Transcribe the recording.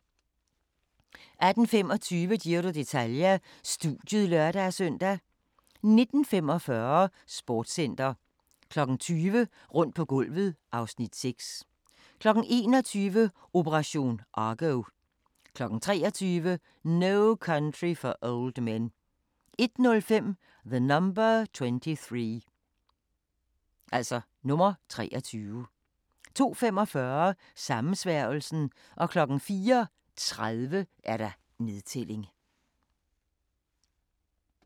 18:25: Giro d'Italia: Studiet (lør-søn) 19:45: Sportscenter 20:00: Rundt på gulvet (Afs. 6) 21:00: Operation Argo 23:00: No Country for Old Men 01:05: The Number 23 02:45: Sammensværgelsen 04:30: Nedtælling